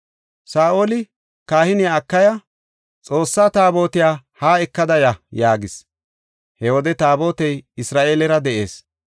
Saa7oli kahiniya Akiya, “Xoossaa Taabotiya haa ekada ya” yaagis. He wode Taabotey Isra7eelera de7ees